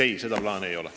Ei, sellist plaani ei ole.